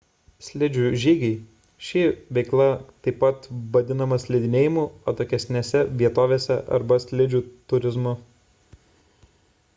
slidžių žygiai ši veikla taip pat vadinama slidinėjimu atokesnėse vietovėse arba slidžių turizmu